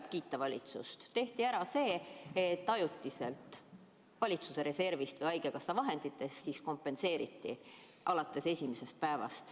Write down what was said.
Selle eest tuleb valitsust kiita, et siis tehti ära see, et ajutiselt valitsuse reservist või haigekassa vahenditest kompenseeriti haiguspäevad alates esimesest päevast.